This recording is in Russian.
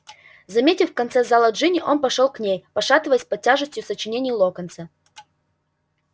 заметив в конце зала джинни он пошёл к ней пошатываясь под тяжестью сочинений локонса